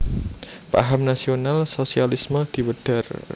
Paham nasional sosialisme diwedhar